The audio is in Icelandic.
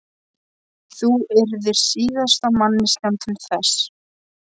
Þú yrðir síðasta manneskjan til þess.